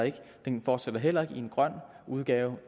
den fortsætter heller ikke i en grøn udgave